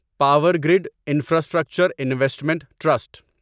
power grid infrastructure investment trust